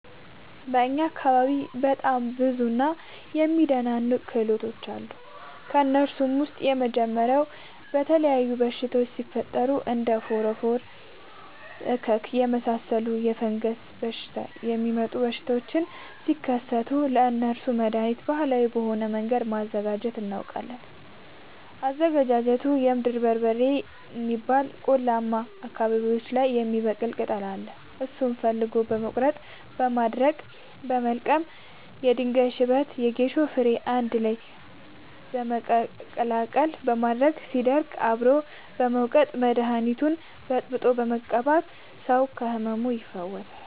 በእኛ አካባቢ በጣም ብዙ እና የሚደናንቅ ክህሎቶች አሉ። ከእነሱም ውስጥ የመጀመሪያው የተለያዩ በሽታወች ሲፈጠሪ እንደ እከክ ፎረፎር የመሳሰሉ በፈንገስ የሚመጡ በሽታዎች ሲከሰቱ ለእነሱ መደሀኒት ባህላዊ በሆነ መንገድ ማዘጋጀት እናውቃለን። አዘገጃጀቱመሸ የምድር በርበሬ የሚባል ቆላማ አካባቢዎች ላይ የሚበቅል ቅጠል አለ እሱን ፈልጎ በመቀለረጥ ማድረቅ በመቀጠልም የድንጋይ ሽበት የጌሾ ፈሸሬ አንድላይ በመቀላቀል ማድረቅ ሲደርቅ አብሮ በመውቀጥ መደኒቱን በጥብጦ በመቀባት ሰው ከህመሙ ይፈወሳል።